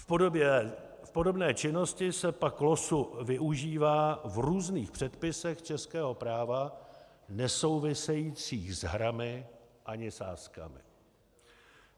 V podobné činnosti se pak losu využívá v různých předpisech českého práva nesouvisejících s hrami ani sázkami.